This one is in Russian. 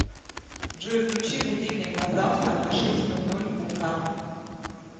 джой включи будильник на завтра на шесть ноль ноль утра